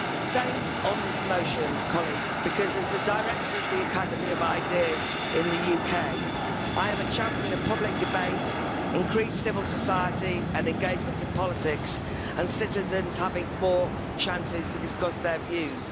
Madam President, I abstained on this motion because as the Director of the Academy of Ideas in the UK, I am a champion of public debate, increased civil society and engagement in politics, and citizens having more chances to discuss their views.